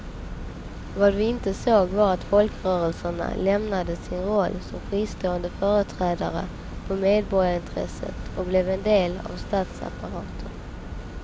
Vad vi inte såg var att folkrörelserna lämnade sin roll som fristående företrädare för medborgarintressen och blev en del av statsapparaten.